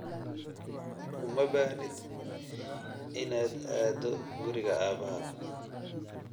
Uma baahnid inaad aado guriga aabbahaa